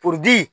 Poli